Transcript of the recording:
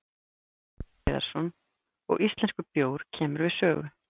Magnús Hlynur Hreiðarsson: Og íslenskur bjór kemur við sögu?